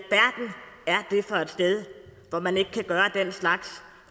sted hvor man ikke kan gøre den slags